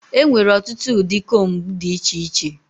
Enwere ọtụtụ ụdị combu dị iche iche.